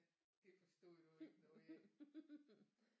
Det forstod du ikke noget af